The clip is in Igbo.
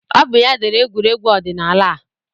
Ọ bụ ya dere egwuregwu ọdịnaala a